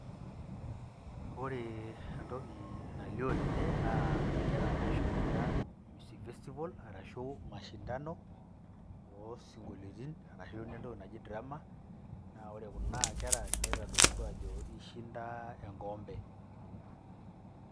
Ore entoki naalio tene, naa inkera naashomoita music festival arashu mashindano o sinkolioitin arashu naa entoki naji drama, naa ore kuna kera neitodolutua aajo eishinda enkikompe.